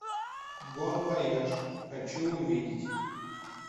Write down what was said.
бон вояж хочу увидеть